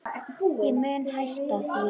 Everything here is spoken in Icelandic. En ég mun hætta því.